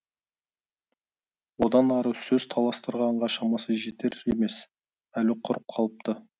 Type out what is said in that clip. одан ары сөз таластырғанға шамасы жетер емес әлі құрып қалыпты